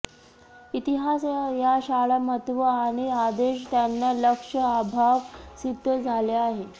इतिहास या शाळा महत्त्व आणि आदेश त्यांना लक्ष अभाव सिद्ध झाले आहे